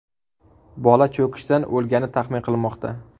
Bola cho‘kishdan o‘lgani taxmin qilinmoqda.